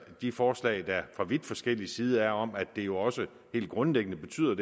de forslag der fra vidt forskellig side er om at det her jo også helt grundlæggende betyder